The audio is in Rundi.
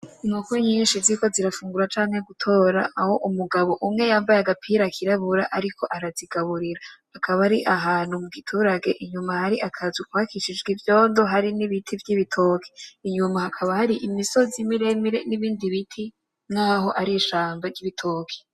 Inkoko nyinshi ziriko zirafungura canke gutora aho umugabo umwe yambaye agapira kirabura ariko arazigaburira. Akaba ari ahantu mu giturage hari akazu kubakishijwe ivyondo hari n'ibiti vy'ibitoki. Inyuma hakaba hari imisozi miremire n'ibindi biti nk'aho ari ishamba ry'ibitoki.